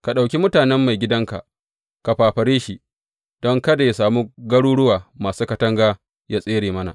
Ka ɗauki mutanen maigidanka ka fafare shi, don kada yă sami garuruwa masu katanga yă tsere mana.